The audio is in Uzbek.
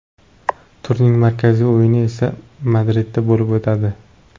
Turning markaziy o‘yini esa Madridda bo‘lib o‘tadi.